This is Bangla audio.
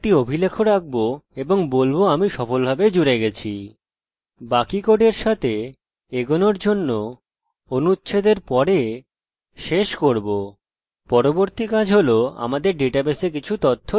পরবর্তী কাজ হল আমাদের ডাটাবেসে কিছু তথ্য লিখুন যা আমরা পরবর্তী টিউটোরিয়ালে সমাবিষ্ট করব